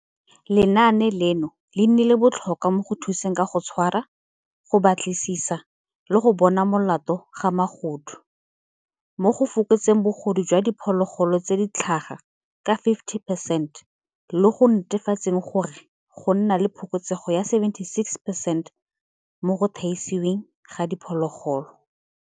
Lenaane leno le nnile botlhokwa mo go thuseng ka go tshwara, go batlisisa le go bonwa molato ga magodu mo go fokotseng bogodu jwa di phologolo tse di tlhaga ka 50 percent, le mo go netefatseng gore go nna le phokotsego ya 76 percent mo go thaisiweng ga diphologolo.